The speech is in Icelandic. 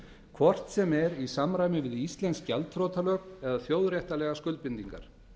hvort sem er í samræmi við íslensk gjaldþrotalög eða þjóðréttarlegar skuldbindingar